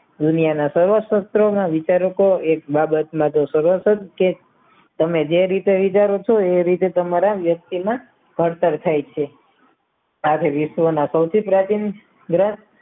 દુનિયાના સર્વશસ્ત્રના વિચારો કો એક બાબતમાં તો સરવર્થ જ છે તમે જે રીતે વિચારો છો એ રીતે તમારા વ્યક્તિમાં ભણતર થાય છે સાથે વિશ્વના સૌથી પ્રાચીન